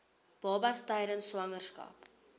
babas tydens swangerskap